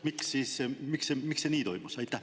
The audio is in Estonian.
Miks see nii toimus?